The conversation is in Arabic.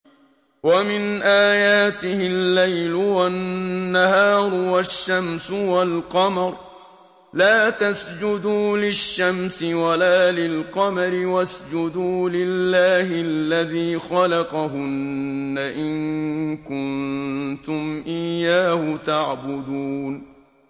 وَمِنْ آيَاتِهِ اللَّيْلُ وَالنَّهَارُ وَالشَّمْسُ وَالْقَمَرُ ۚ لَا تَسْجُدُوا لِلشَّمْسِ وَلَا لِلْقَمَرِ وَاسْجُدُوا لِلَّهِ الَّذِي خَلَقَهُنَّ إِن كُنتُمْ إِيَّاهُ تَعْبُدُونَ